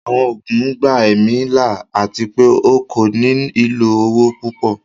Àwọn oogun gbà ẹ̀mí là ati pẹ̀ o kò ní ilọ owo pupọ̀